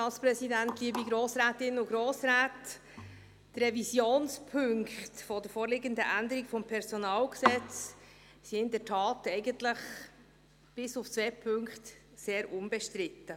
Die Revisionspunkte der vorliegenden Änderung des PG sind in der Tat eigentlich, bis auf zwei Punkte, sehr unbestritten.